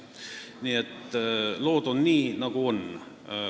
Nii et lood on nii, nagu on.